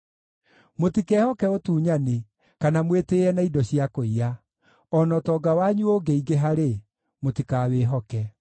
Mũtikehoke ũtunyani kana mwĩtĩĩe na indo cia kũiya; o na ũtonga wanyu ũngĩingĩha-rĩ, mũtikawĩhoke.